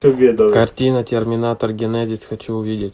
картина терминатор генезис хочу увидеть